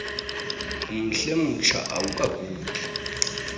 umhle umtsha awukagugi